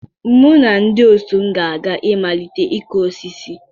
Mụ na ndị otu m ga-aga imalite ịkụ osisi.